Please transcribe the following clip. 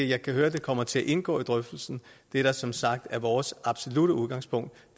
jeg kan høre at det kommer til at indgå i drøftelsen det der som sagt er vores absolutte udgangspunkt